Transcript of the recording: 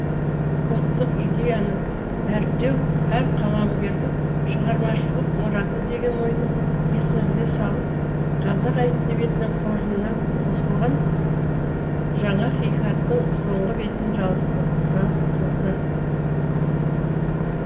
ұлттық идеяны дәріптеу әр қаламгердің шығармашылық мұраты деген ойды есімізге салып қазақ әдебиетінің қоржынына қосылған жаңа хикаяттың соңғы бетін жапқызады